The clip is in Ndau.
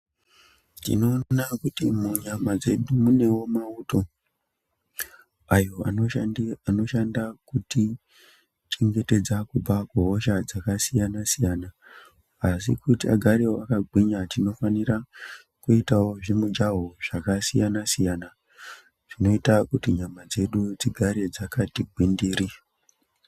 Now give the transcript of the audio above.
Tinoona kuti munyama dzedu munewo mauto ayo anoshanda kutichengetedza kubva kuhosha dzakasiyana-siyana, asi kuti agare akagwinya tinofanira kuitawo zvimujaho zvakasiyana siyana, zvinoita kuti nyama dzedu dzigare dzakati gwindiri.